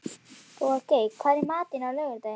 Bogey, hvað er í matinn á laugardaginn?